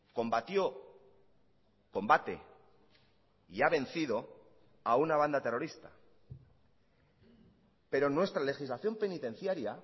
combatió combate y ha vencido a una banda terrorista pero nuestra legislación penitenciaria